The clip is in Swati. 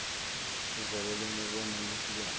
luvelo lwemibono leyehlukene